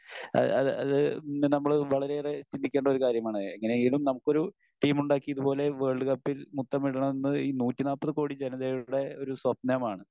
അഹ് അത് അത് നമ്മള് വളരെയേറെ ചിന്തിക്കേണ്ട ഒരു കാര്യം ആണ്. എങ്ങിനെയെങ്കിലും നമുക്കൊരു ടീമുണ്ടാക്കി ഇതുപോലെ വേൾഡ്കപ്പിൽ മുത്തമിടണം എന്നത് ഈ നൂറ്റി നാല്പത് കോടി ജനതയുടെ ഒരു സ്വപ്നമാണ്.